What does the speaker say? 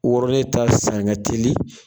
Wɔrɔlen ta san ka teli